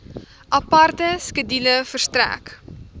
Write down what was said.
aparte skedule verstrek